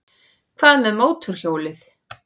Hvað með mótorhjólið?